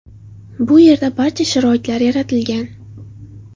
Bu yerda barcha sharoitlar yaratilgan.